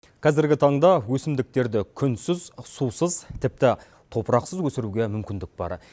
қазіргі таңда өсімдіктерді күнсіз сусыз тіпті топырақсыз өсіруге мүмкіндік бар